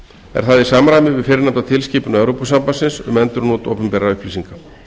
er það í samræmi við fyrrnefnda tilskipun evrópusambandsins um endurnot opinberra upplýsinga